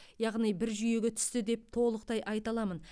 яғни бір жүйеге түсті деп толықтай айта аламын